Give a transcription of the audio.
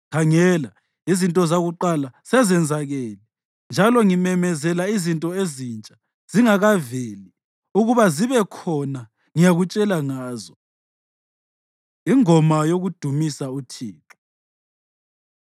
Khangela, izinto zakuqala sezenzakele, njalo ngimemezela izinto ezintsha; zingakaveli ukuba zibe khona ngiyakutshela ngazo.” Ingoma Yokudumisa UThixo